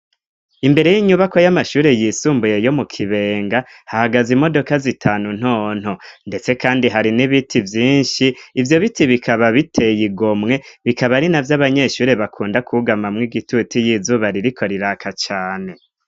Imbere y'inyubako y'amashuri yisumbuye yo mu kibenga hagaze imodoka zitanu ntonto ndetse kandi hari n'ibiti vyinshi ibyo biti bikaba biteye igomwe bikaba ari na vy'abanyeshuri bakunda kugama mw'igitutu y'izuba ririko riraka cane